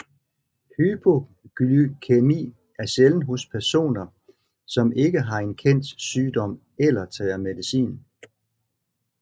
Hypoglykæmi er sjælden hos personer som ikke har en kendt sygdom eller tager medicin